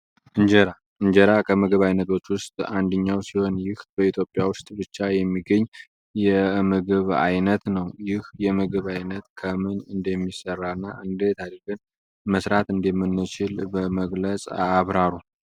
እጀራ ከምግብ አይነቶች ውሰጥ ይህ በኢትዮጽያ ውስጥ የሚገኝ ነምግብ ከይሁዳም ጭነት ነው ይህ የምግብ አይነት ከምን እደሚሰራ እና እዴት አርገን መስራት እደምንችል በመግለፅ አብራሩ?